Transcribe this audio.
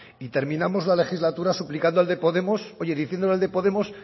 y terminamos la legislatura suplicando al de podemos oye diciendo al de podemos